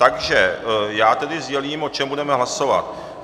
Takže já tedy sdělím, o čem budeme hlasovat.